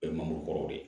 Bɛɛ ye mangoro kɔrɔ de ye